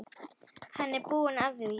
Hann er búinn að því.